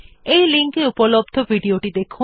এই লিঙ্ক এ উপলব্ধ ভিডিও টি দেখুন